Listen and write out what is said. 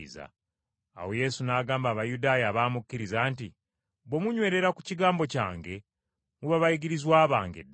Awo Yesu n’agamba Abayudaaya abaamukkiriza nti, “Bwe munywerera ku kigambo kyange muba bayigirizwa bange ddala.